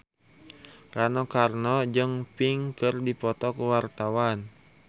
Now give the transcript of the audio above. Rano Karno jeung Pink keur dipoto ku wartawan